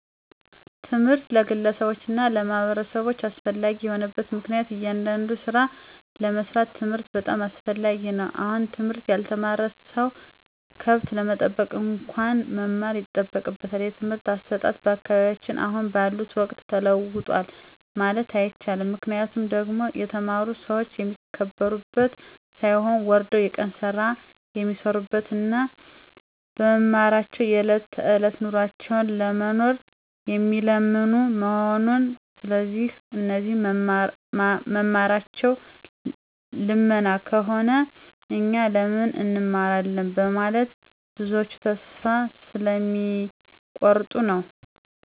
ትምህርት ለግለሰቦች እና ለማህበረሰቦች አስፈላጊ የሆነበት ምክንያቱም እያንዳዱን ስራ ለመስራት ትምህርት በጣም አስፈላጊ ነው አሁን ትምህርት ያልተማረ ሰው ከብት ለመጠበቅ እንኳን መማር ይጠበቅበታል። የትምህርት አሰጣጥ በአካባቢያችን አሁን ባለው ወቅት ተለውጧል ማለት አይቸልም ምክንያቱ ደግሞ የተማሩ ሰዎች የሚከበሩበት ሳይሆን ወርደው የቀን ስራ የሚሰሩበት እና በመማራቸው የዕለት ተዕለት ኑሯቸውን ለመኖር የሚለምኑ መሆኑ ስለዚህ እነሱ መማራቸው ልመና ከሆነ እኛ ለምን እንማራለን በመለት ብዞች ተስፋ ስለሚ ቆርጡ ነዉ።